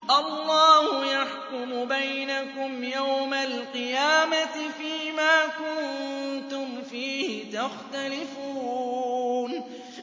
اللَّهُ يَحْكُمُ بَيْنَكُمْ يَوْمَ الْقِيَامَةِ فِيمَا كُنتُمْ فِيهِ تَخْتَلِفُونَ